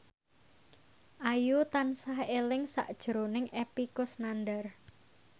Ayu tansah eling sakjroning Epy Kusnandar